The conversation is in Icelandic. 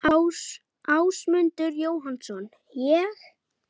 Ásmundur Jóhannsson: Ég?